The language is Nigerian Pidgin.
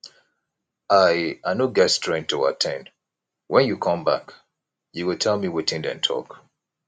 i i no get strength to at ten d wen you come back you go tell me wetin dey talk